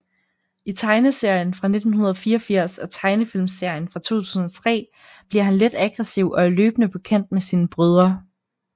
I tegneserien fra 1984 og tegnefilmserien fra 2003 bliver han let aggressiv og er løbende på kant med sine brødre